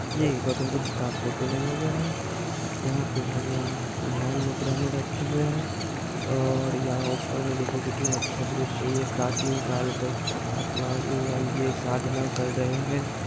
ये एक गौतम बुद्ध का फोटो लगा हुआ है। यहाँ पे भगवान ध्यान मुद्रा में बैठे हुए हैं। और यहाँ ऊपर में देखिए कितना अच्छा दृश्य है ये प्राचीन काल के भगवान ए ए ये साधना कर रहे हैं।